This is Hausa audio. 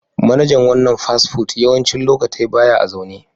Manajan wanan fast food yawancin lokatai baya a'zaune.